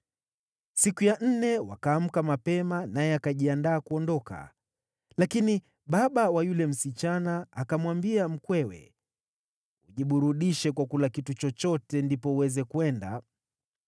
Siku ya nne wakaamka mapema naye akajiandaa kuondoka, lakini baba wa yule msichana akamwambia mkwewe, “Ujiburudishe kwa kula kitu chochote, ndipo uweze kwenda.”